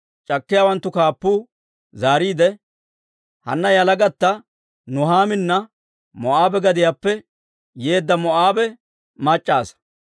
C'akkiyaawanttu kaappuu zaariide, «Hanna yalagatta Nuhaamina Moo'aabe gadiyaappe yeedda Moo'aabe mac'c'a asaa.